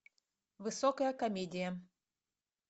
высокая комедия